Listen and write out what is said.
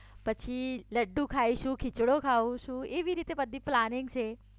પછી લડડુ ખાઈશું ખીચડો ખાઉ છું એવી રીતે બધી પ્લાનિંગ છે